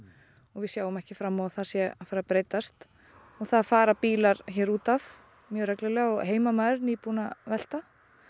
og við sjáum ekki fram á að það sé að fara að breytast og það fara bílar hér útaf mjög reglulega og heimamaður nýbúinn að velta